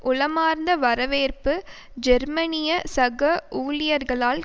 உளமார்ந்த வரவேற்பு ஜெர்மனிய சக ஊழியர்களால்